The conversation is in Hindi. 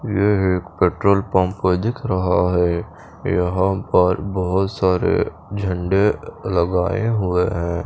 नीले पेट्रोल पंप दिख रहा है यहाँ पर बोहोत सारे झंडे लगाये हुए है।